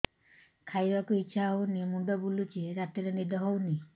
ଖାଇବାକୁ ଇଛା ହଉନି ମୁଣ୍ଡ ବୁଲୁଚି ରାତିରେ ନିଦ ହଉନି